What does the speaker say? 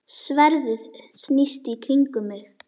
Sverðið snýst í kringum mig.